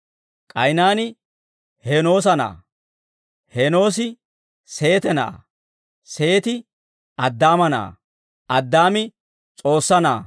K'aynaani Heenoosa na'aa; Heenoosi Seete na'aa; Seeti Addaama na'aa; Addaami S'oossaa na'aa.